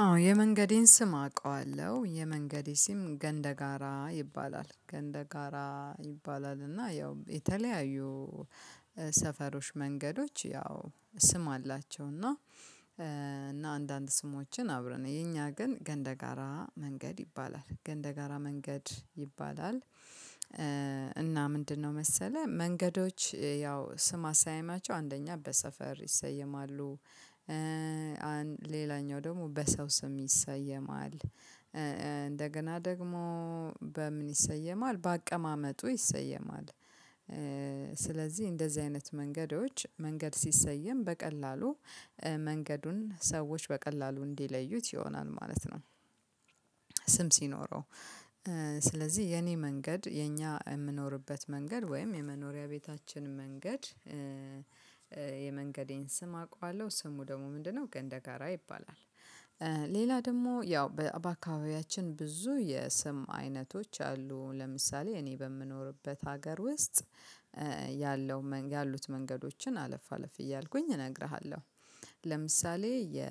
አዎ የመንገዴን ስም አውቀዋለሁ የመንገዴ ስም ገንደጋራ ይባላል ገንደጋራ ይባላል እና ያው የተለያዩ ሰፈሮች መንገዶች ያው ስም አላቸው። እና እና አንዳንድ ስሞችን አብረን የኛ ግን ገንደጋራ መንገድ ይባላል ገንደጋራ መንገድ ይባላል። እና ምንድነው? መሰለህ መንገዶች ያው ስም አሰያየማቸው አንደኛ በሰፈር ይሰየማሉ። ሌላኛው ደግሞ በሰው ስም ይሰየማል። እንደገና ደግሞ በምን ይሰየማል በአቀማመጡ ይሰየማል። ስለዚህ እንደዚህ አይነት መንገዶች መንገድ ሲሰየም በቀላሉ መንገዱን ሰዎች በቀላሉ እንዲለዩት ይሆናል ማለት ነው። ስም ሲኖረው ስለዚህ የኔ መንገድ የኛ እምኖርበት መንገድ ወይም የመኖሪያ ቤታችን መንገድ። የመንገዴን ስም አውቃለሁ ስሙ ደግሞ ምንድነው ገንደጋራ ይባላል። ሌላ ደግሞ ያው በአባካውያችን ብዙ የስም አይነቶች አሉ ለምሳሌ እኔ በምኖርበት ሀገር ውስጥ ያለው ያሉት መንገዶችን አለፍ አለፍ እያልኩኝ እነግርሃለሁ። ለምሳሌ የ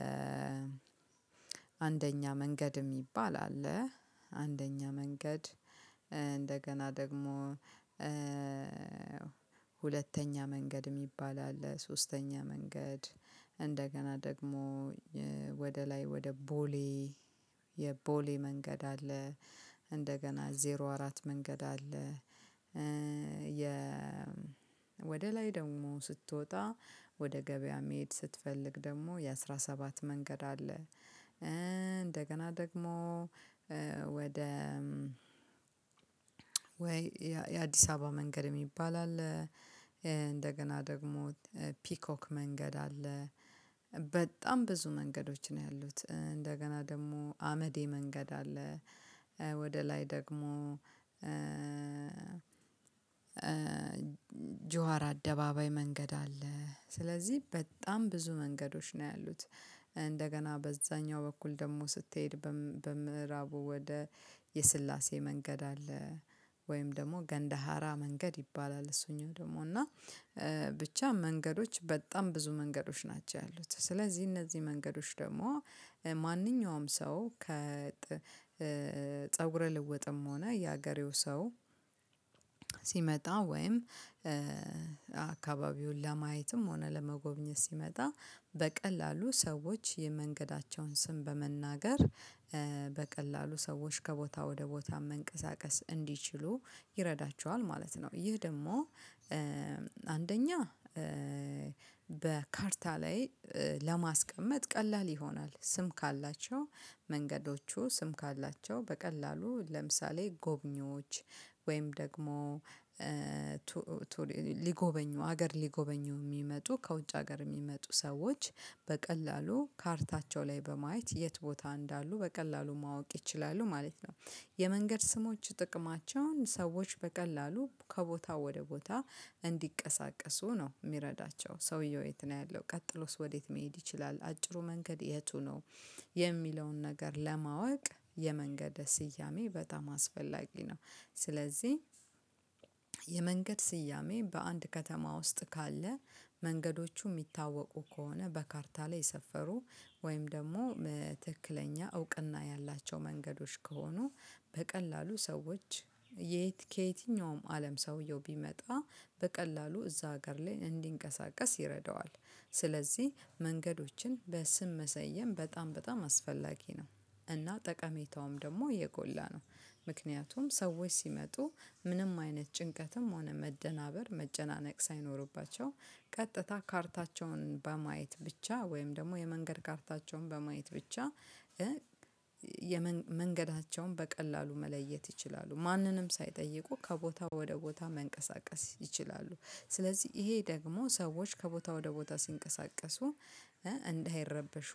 አንደኛ መንገድ የሚባል አለ። አንደኛ መንገድ እንደገና ደግሞ መንገድ የሚባል አለ ሶስተኛ መንገድ። እንደገና ደግሞ ወደ ላይ ወደ ቦሌ የቦሌ መንገድ አለ። እንደገና ዜሮ አራት መንገድ አለ። የ ወደ ላይ ደግሞ ስትወጣ ወደ ገበያ መሄድ ስትፈልግ ደግሞ የአሥራ ሰባት መንገድ አለ። እንደገና ደግሞ ወደ ወይ የአዲስ አበባ መንገድ የሚባል አለ። እንደገና ደግሞ ፒኮክ መንገድ አለ። በጣም ብዙ መንገዶች ነው ያሉት እንደገና ደግሞ አመዴ መንገድ አለ። ወደ ላይ ደግሞ ጁዋር አደባባይ መንገድ አለ። ስለዚህ በጣም ብዙ መንገዶች ነው ያሉት እንደገና በዛኛው በኩል ደግሞ ስትሄድ በምዕራቡ ወደ የስላሴ መንገድ አለ። ወይም ደግሞ ገንደሃራ መንገድ ይባላል። እሱኛው ደግሞ እና ብቻ መንገዶች በጣም ብዙ መንገዶች ናቸው ያሉት። ስለዚህ እነዚህ መንገዶች ደግሞ ማንኛውም ሰው ከፀጉረ ልወጥም ሆነ የሀገሬው ሰው ሲመጣ ወይም አካባቢውን ለማየትም ሆነ ለመጎብኘት ሲመጣ በቀላሉ ሰዎች የመንገዳቸውን ስም በመናገር በቀላሉ ሰዎች ከቦታ ወደ ቦታ መንቀሳቀስ እንዲችሉ ይረዳቸዋል ማለት ነው። ይህ ደግሞ አንደኛ በካርታ ላይ ለማስቀመጥ ቀላል ይሆናል። ስም ካላቸው መንገዶቹ ስም ካላቸው በቀላሉ ለምሳሌ ጎብኚዎች ወይም ደግሞ ሊጎበኙ ሀገር ሊጎበኙ የሚመጡ ከውጭ ሀገር የሚመጡ ሰዎች በቀላሉ ካርታቸው ላይ በማየት የት ቦታ እንዳሉ በቀላሉ ማወቅ ይችላሉ ማለት ነው። የመንገድ ስሞች ጥቅማቸውን ሰዎች በቀላሉ ከቦታው ወደ ቦታ እንዲቀሳቀሱ ነው የሚረዳቸው። ሰውየው የት ነው ያለው ቀጥሎስ ወዴት መሄድ ይችላል። አጭሩ መንገድ የቱ ነው? የሚለውን ነገር ለማወቅ የመንገድ ስያሜ በጣም አስፈላጊ ነው። ስለዚህ የመንገድ ስያሜ በአንድ ከተማ ውስጥ ካለ መንገዶቹ የሚታወቁ ከሆነ በካርታ ላይ የሰፈሩ ወይም ደግሞ ትክክለኛ እውቅና ያላቸው መንገዶች ከሆኑ በቀላሉ ሰዎች ከየትኛውም አለም ሰውየው ቢመጣ በቀላሉ እዛ ሀገር ላይ እንዲንቀሳቀስ ይረዳዋል። ስለዚህ መንገዶችን በስም መሰየም በጣም በጣም አስፈላጊ ነው። እና ጠቀሜታውም ደግሞ የጎላ ነው። ምክንያቱም ሰዎች ሲመጡ ምንም አይነት ጭንቀትም ሆነ መደናበር መጨናነቅ ሳይኖርባቸው ቀጥታ ካርታቸውን በማየት ብቻ ወይም ደግሞ የመንገድ ካርታቸውን በማየት ብቻ መንገዳቸውን በቀላሉ መለየት ይችላሉ ማንንም ሳይጠይቁ ከቦታ ወደ ቦታ መንቀሳቀስ ይችላሉ። ስለዚህ ይሄ ደግሞ ሰዎች ከቦታ ወደ ቦታ ሲንቀሳቀሱ እንዳይረበሹ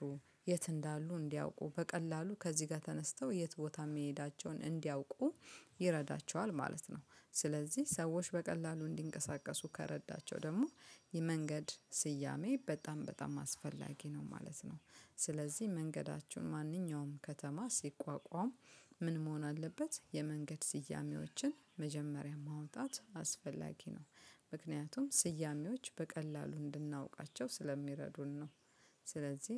የት እንዳሉ እንዲያውቁ በቀላሉ ከዚህ ጋር ተነስተው የት ቦታ የሚሄዳቸውን እንዲያውቁ ይረዳቸዋል ማለት ነው። ስለዚህ ሰዎች በቀላሉ እንዲንቀሳቀሱ ከረዳቸው ደግሞ የመንገድ ስያሜ በጣም በጣም አስፈላጊ ነው ማለት ነው። ስለዚህ መንገዳችሁን ማንኛውም ከተማ ሲቋቋም ምን መሆን አለበት የመንገድ ስያሜዎችን መጀመሪያ ማውጣት አስፈላጊ ነው። ምክንያቱም ስያሜዎች በቀላሉ እንድናውቃቸው ስለሚረዱን ነው። ስለዚህ